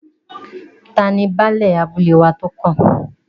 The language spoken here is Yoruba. Tani Baálẹ̀ abúlé wa tó kàn?